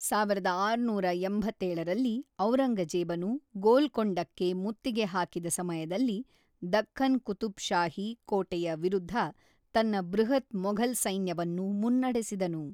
ಸಾವಿರದ ಆರುನೂರ ಎಂಬತ್ತೇಳರಲ್ಲಿ ಔರಂಗಜೇಬನು ಗೋಲ್ಕೊಂಡಕ್ಕೆ ಮುತ್ತಿಗೆ ಹಾಕಿದ ಸಮಯದಲ್ಲಿ ದಖ್ಖನ್ ಕುತುಬ್‌ಷಾಹಿ ಕೋಟೆಯ ವಿರುದ್ಧ ತನ್ನ ಬೃಹತ್ ಮೊಘಲ್ ಸೈನ್ಯವನ್ನು ಮುನ್ನಡೆಸಿದನು.